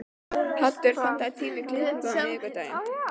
Haddur, pantaðu tíma í klippingu á miðvikudaginn.